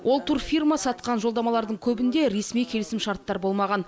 ол турфирма сатқан жолдамалардың көбінде ресми келісімшарттар болмаған